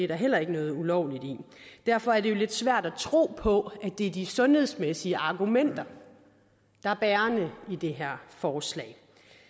der heller ikke noget ulovligt i og derfor er det jo lidt svært at tro på at det er de sundhedsmæssige argumenter der er bærende i det her forslag